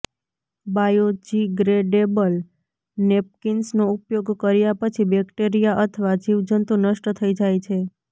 biodegradable નેપકિન્સનો ઉપયોગ કર્યા પછી બેકટેરિયા અથવા જીવ જંતુ નષ્ટ થઈ જાય છે